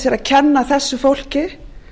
kenna þessu fólki